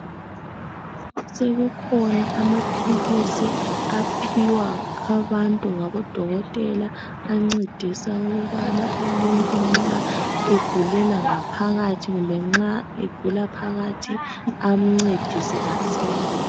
Sekukhona amaphilisi aphiwa abantu ngabo dokotela ancedisa ukubana umuntu nxa egulela ngaphakathi kumbe nxa egula phakathi amncedise asile.